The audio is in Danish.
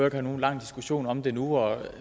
at have nogen lang diskussion om det nu og